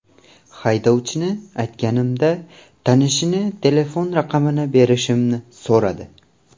Haydovchini aytganimda, tanishligini telefon raqamini berishimni so‘radi.